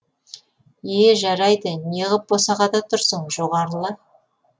е жарайды не ғып босағада тұрсың жоғарыла